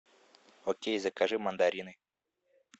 окей закажи мандарины